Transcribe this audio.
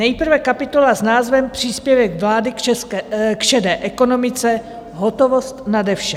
Nejprve kapitola s názvem příspěvek vlády k šedé ekonomice, hotovost nade vše.